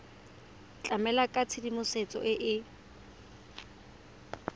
tlamela ka tshedimosetso e e